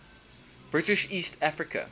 british east africa